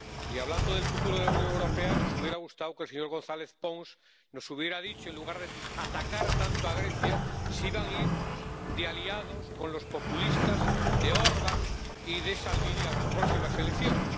Y hablando del futuro de la Unión Europea nos hubiera gustado que el señor González Pons nos hubiera dicho, en lugar de atacar tanto a Grecia, si van a ir de aliados con los populistas de Orban y de Salvini a las próximas elecciones.